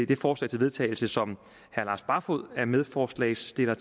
det forslag til vedtagelse som herre lars barfoed er medforslagsstiller